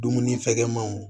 Dumuni fɛgɛmanw